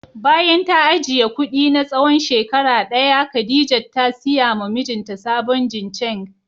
Bayan ta ajiye kudi na tsawon shekara daya Khadijat ta siya ma mijinta sabon jincheng